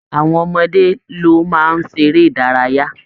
Àwọn ọmọdé ló máa ń ṣeré ìdárayá